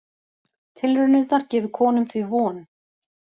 Tilraunirnar gefi konum því von